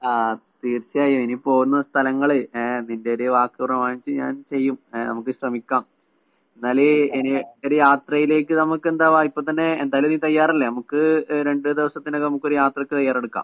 ആഹ് തീർച്ചയായും. ഇനി പോകുന്ന സ്ഥലങ്ങളെ ഏഹ് നിന്റെയൊരു വാക്ക് പ്രമാണിച്ച് ഞാൻ ചെയ്യും. ഏഹ് നമുക്ക് ശ്രമിക്കാം. എന്നാല് ഇനിയൊരു യാത്രയിലേക്ക് നമുക്കെന്താ വാ ഇപ്പത്തന്നെ എന്തായാലും നീ തയ്യാറല്ലേ? നമുക്ക് എഹ് രണ്ട് ദിവസത്തിനകം നമുക്കൊര് യാത്രയ്ക്ക് തയ്യാറെടുക്കാം.